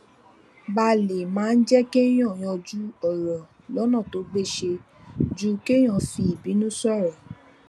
balè máa ń jé kéèyàn yanjú òrò lónà tó gbéṣé ju kéèyàn fi ìbínú sòrò